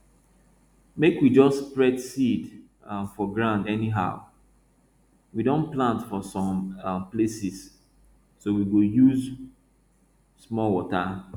make we jus spread seed um for ground anyhow we don plant for some um places so we go use small water